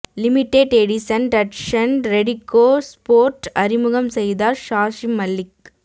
limited edition Datsun redi go sport அறிமுகம் செய்தார் சாக்ஷி மல்லிக்